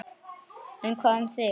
En hvað um þig?